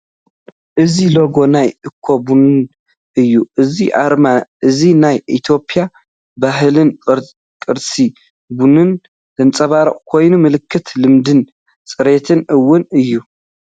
እዚ ሎጎ ናይ ኣኮ ቡን እዩ። እዚ ኣርማ እዚ ናይ ኢትዮጵያ ባህልን ቅርሲ ቡንን ዘንጸባርቕ ኮይኑ፡ ምልክት ልምድን ጽሬትን እውን እዩ።